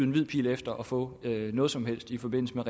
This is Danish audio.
en hvid pil efter at få noget som helst i forbindelse med